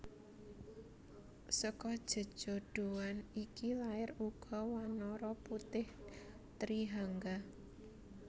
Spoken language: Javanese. Seka jejodhoan iki lair uga wanara putih Trihangga